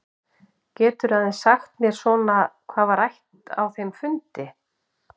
Geturðu aðeins sagt mér svona hvað var rætt á þeim fundi?